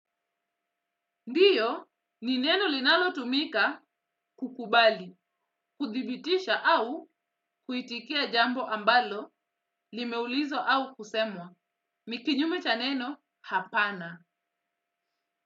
Ndiyo, ni neno linalotumika kukubali, kuthibitisha au kuitikia jambo ambalo limeulizwa au kusemwa. Ni kinyume cha neno hapana.